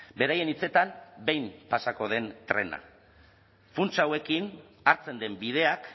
beraien hitzetan behin pasako den trena funts hauekin hartzen den bideak